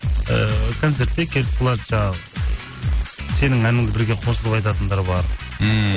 ыыы концертте келіп қалады жаңағы сенің әніңді бірге қосылып айтатындар бар ммм